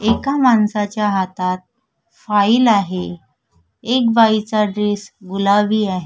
एका माणसाच्या हातात फाइल आहे एक बाईचा ड्रेस गुलाबी आहे.